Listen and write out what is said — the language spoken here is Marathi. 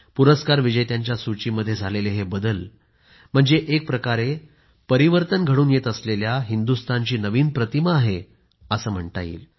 पुरस्कार विजेत्यांच्या सूचीमध्ये झालेले हे बदल म्हणजे एक प्रकारे परिवर्तन घडत असलेल्या हिंदुस्तानची नवीन प्रतिमा आहे असं म्हणता येईल